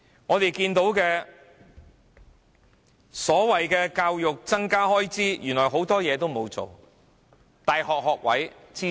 我們看到所謂增加教育開支，原來很多事情都沒有做。